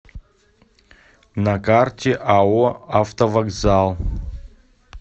на карте ао автовокзал